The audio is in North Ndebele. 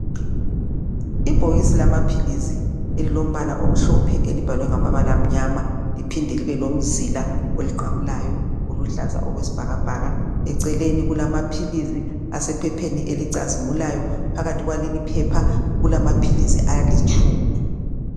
Ibhokisi lamaphilizi elilombala omhlophe elibhalwe ngamabala amnyama liphinde libe lomzila oliqamulayo oluhlaza okwesibhakabhaka. Eceleni kulamaphilizi asephepheni elicazimulayo . Phakathi kwaleliphepha ,kulamaphilizi alitshumi.